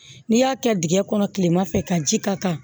N'i y'a kɛ dingɛ kɔnɔ kilema fɛ ka ji k'a kan